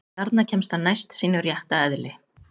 Þarna kemst hann næst sínu rétta eðli.